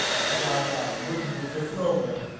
хотя она выглядит как новая